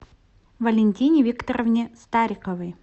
валентине викторовне стариковой